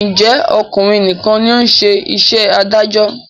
Ǹjẹ́ ọkùnrin nìkan ni ó ń ṣe iṣẹ́ adájọ́?